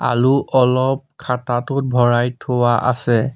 আলু অলপ খাটাটোত ভৰাই থোৱা আছে।